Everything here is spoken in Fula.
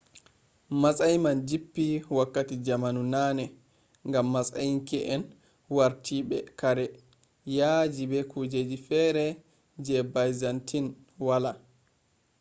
matsayi man jippi wakati jamanu nane ngam matsinke’en wartidibe kare yaaji be kujeji fere je byzantine wala